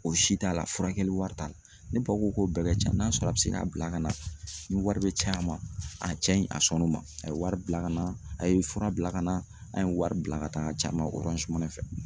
O si t'a la furakɛli wari t'a la, ne pa ko ko bɛɛ ka ca n'a sɔrɔ a bɛ se k'a bila ka na ni wari bɛ caya a ma, a cɛ in a sɔnn'o ma a ye wari bila ka na, a ye fura bila ka na, an ye wari bila ka taa a ci a ma fɛ.